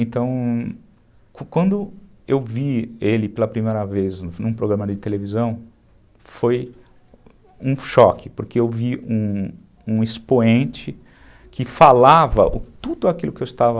Então, quando eu o vi ele pela primeira vez num programa de televisão, foi um choque, porque eu vi um expoente que falava tudo aquilo que eu estava...